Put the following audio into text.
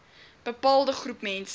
bepaalde groep mense